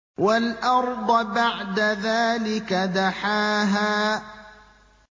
وَالْأَرْضَ بَعْدَ ذَٰلِكَ دَحَاهَا